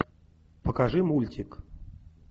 покажи мультик